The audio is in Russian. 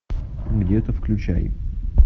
где то включай